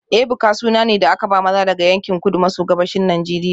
Ebuka suna ne da aka ba maza daga yankin Kudu maso Gabashin Najeriya